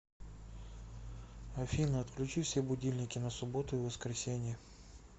афина отключи все будильники на субботу и воскресенье